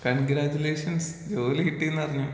Congratulations ജോലി കിട്ടീന്നറിഞ്ഞു.